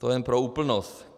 To jen pro úplnost.